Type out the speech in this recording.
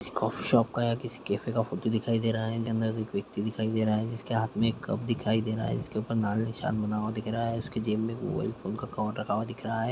किसी coffee shop का या किसी कैफे का फोटो दिखाई दे रहा है जहां अंदर एक व्यक्ति दिखाई दे रहा है जिसके हाथ में एक कप दिखाई दे रहा है जिसके ऊपर नारी निशान बना हुआ है उसकी जेब में मोबाइल फोन का कवर रखा हुआ दिख रहा है।